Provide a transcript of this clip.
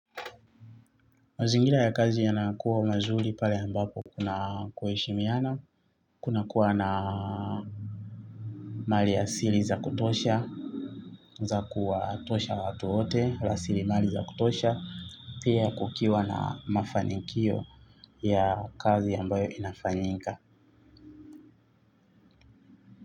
Mazingira ya kazi yanakuwa mazuri pale ambapo kuna kuheshimiana, kunakuwa na mali ya asili za kutosha, za kuwatosha watu wote, rasilimali za kutosha, pia kukiwa na mafanikio ya kazi ambayo inafanyika.